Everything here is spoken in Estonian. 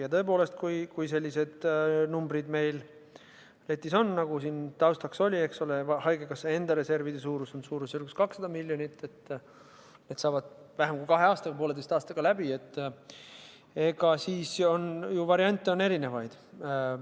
Ja tõepoolest, kui sellised numbrid meil letis on, nagu siin taustaks oli – haigekassa enda reservide suurus on suurusjärgus 200 miljonit, need saavad vähem kui kahe aasta või pooleteise aastaga läbi –, siis on ju variante erinevaid.